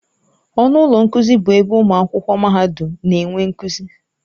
Ọnụ ụlọ nkuzi bụ ebe ụmụ akwụkwọ mahadum na-enwe nkuzi.